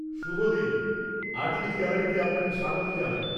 -শুভ দিন, আর্টিস্টস গ্যালারিতে আপানকে স্বাগত জানাই।